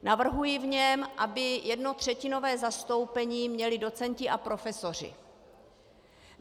Navrhuji v něm, aby jednotřetinové zastoupení měli docenti a profesoři.